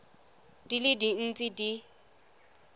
di le dintsi tse di